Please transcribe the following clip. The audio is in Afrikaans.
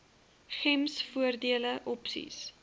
gems voordele opsies